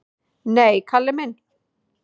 """Nei, Kalli minn."""